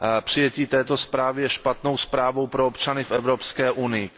Přijetí této zprávy je špatnou zprávou pro občany v Evropské unii.